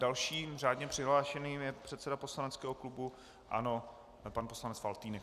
Dalším řádně přihlášeným je předseda poslaneckého klubu ANO pan poslanec Faltýnek.